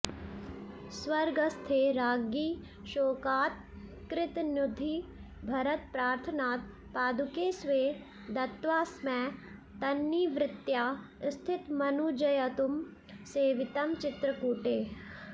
स्वर्गस्थे राज्ञि शोकात् कृतनुतिभरतप्रार्थनात् पादुके स्वे दत्त्वास्मै तन्निवृत्त्या स्थितमनुजयुतं सेवितं चित्रकूटे